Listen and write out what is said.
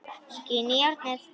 Skín í járnið.